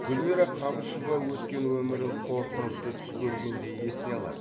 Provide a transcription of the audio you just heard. гүлмира қабышева өткен өмірін қорқынышты түс көргендей есіне алады